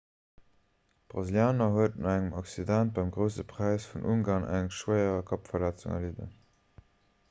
de brasilianer huet no engem accident beim grousse präis vun ungarn eng schwéier kappverletzung erlidden